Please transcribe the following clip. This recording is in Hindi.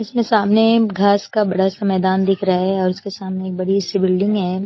इसमें सामने घास का बड़ा सा मैदान दिख रहा है और उसके सामने एक बड़ी सी बिल्डिंग है।